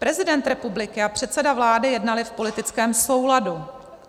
Prezident republiky a předseda vlády jednali v politickém souladu.